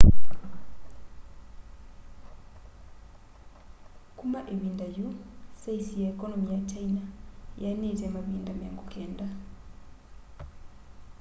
kuma ivinda yu saisi ya ekonomi ya kyaina yianite mavinda 90